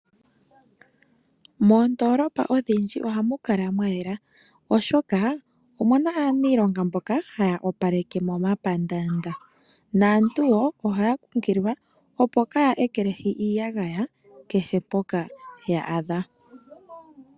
Moondolopa odhindji ohamu kala mwayela oshoka omuna aaniilonga mboka haya opaleke momapandaanda, naantu woo ohaya kunkililwa opo kaaya ekelehi iiyagaya kehe mpoka ya adha.